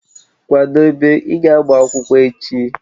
Kwadebe, ị ga agba akwụkwọ echi!